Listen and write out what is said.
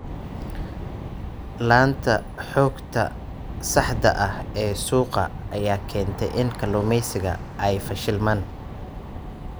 La'aanta xogta saxda ah ee suuqa ayaa keenta in kalluumaysatadu ay fashilmaan.